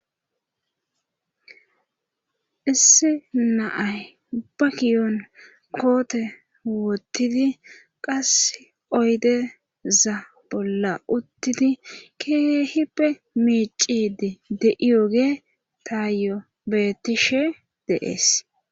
Issi na'ay ba kiyon koote wotidi qassi oydeza bolla utidi keehippe miiccide de'iyoge taayo beetishe de'ees.